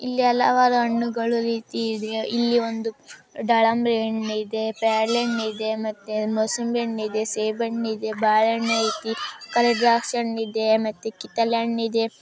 ಇಲ್ಲಿ ಹಲವಾರು ಹಣ್ಣುಗಳು ರೀತಿ ಇದೆ ಇಲ್ಲಿ ಒಂದು ದಾಳಿಂಬೆ ಹಣ್ಣು ಇದೆ ಪೇರಳೆ ಹಣ್ಣು ಇದೆ ಮತ್ತೆ ಮೂಸಂಬಿ ಹಣ್ಣು ಇದೆ ಮತ್ತೆ ಸೇಬು ಹಣ್ಣು ಇದೆ ಬಾಳೆಹಣ್ಣು ಇದೆ ದ್ರಾಕ್ಷಿ ಹಣ್ಣು ಇದೆ ಮತ್ತು ಕಿತ್ತಳೆ ಹಣ್ಣು ಇದೆ.